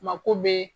Mako be